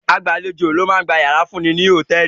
Agbàlejò ni ó máa ń gba ìyàrá fún ni ní hòtẹ́ẹ́lì.